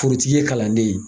Forotigi ye kalanden ye.